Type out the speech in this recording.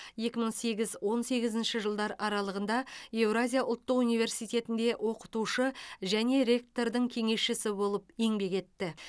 екі мың сегіз он сегізінші жылдар аралығында евразия ұлттық университетінде оқытушы және ректордың кеңесшісі болып еңбек етті